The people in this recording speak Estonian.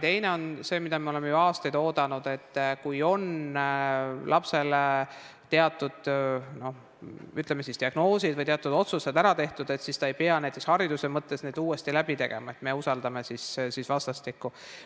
Teine on see, mida me oleme ju aastaid oodanud, et kui lapsel on teatud diagnoos või on teatud otsused ära tehtud, siis ta ei pea näiteks hariduse mõttes uuesti tegema, vaid me usaldame vastastikku.